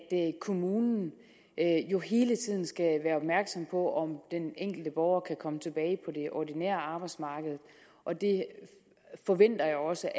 kommunen jo hele tiden skal være opmærksom på om den enkelte borger kan komme tilbage på det ordinære arbejdsmarked og det forventer jeg også